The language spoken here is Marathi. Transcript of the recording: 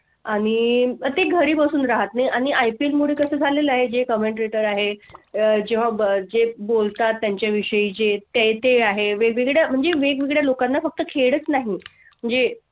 आणि ते घरी बसून राह्तनाई आणि IPL मुळे कसं झालेलं आहे जे commentator आहे अं जेव्हा जे बोलता त्यांच्या विषयी जें तें तें आहे. वेगवेगळ्या म्हणजे वेगवेगळ्या लोकांना फक्त खेळच नाही. म्हणजे